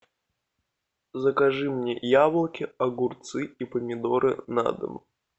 закажи мне яблоки огурцы и помидоры на дом